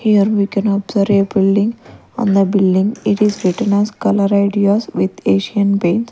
Here we can observe a building on the building it is written as color ideas with Asian paints .